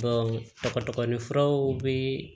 furaw bɛ